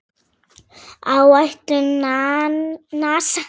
Áætlun NASA